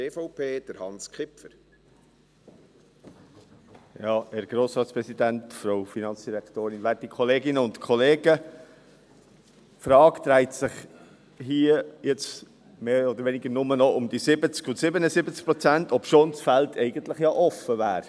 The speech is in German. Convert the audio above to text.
Die Frage dreht sich hier im Grossen Rat jetzt mehr oder weniger nur noch um die 70 und 77 Prozent, obschon das Feld ja eigentlich offen wäre.